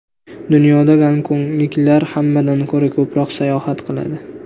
Dunyoda gonkongliklar hammadan ko‘ra ko‘proq sayohat qiladi.